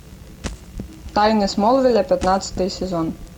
тайны смолвиля пятнадцатый сезон